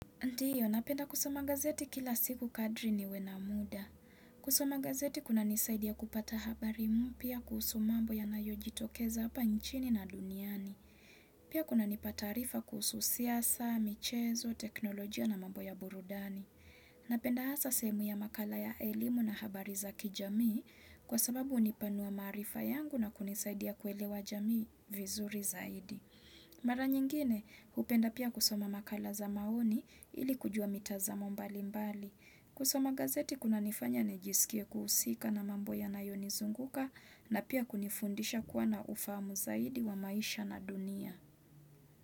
Ndiyo, napenda kusoma gazeti kila siku kadri niwe na muda. Kusoma gazeti kunanisaidia kupata habari mpya kuhusu mambo yanayo jitokeza hapa nchini na duniani. Pia kunanipa taarifa kuhusu siasa, michezo, teknolojia na mambo ya burudani. Napenda hasa sehemu ya makala ya elimu na habari za kijamii kwa sababu hunipanua maarifa yangu na kunisaidia kuelewa jamii vizuri zaidi. Mara nyingine hupenda pia kusoma makala za maoni ili kujua mitazamo mbali mbali. Kusoma gazeti kunanifanya nijisikie kuhusika na mambo yanayonizunguka na pia kunifundisha kuwa na ufahamu zaidi wa maisha na dunia.